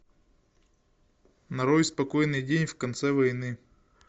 нарой спокойный день в конце войны